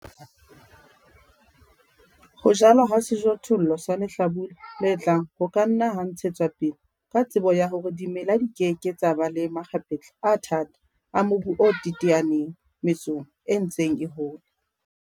Ho jalwa ha sejothollo sa lehlabula le tlang ho ka nna ha ntshetswa pele ka tsebo ya hore dimela di ke ke tsa ba le makgapetla a thata a mobu o teteaneng metsong e ntseng e hola, le hore ho tla fumanwa kuno e phahameng ya dijothollo sehleng se hlahlamang.